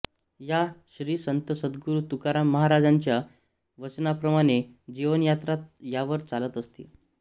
या श्री संत सद्गुरू तुकाराम महाराजांच्या वचनाप्रमाणे जीवनयात्रा यावर चालत असते